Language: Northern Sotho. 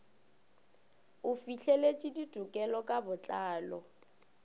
o fihleletše ditekolo ka botlalo